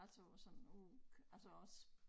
Altså og sådan altså også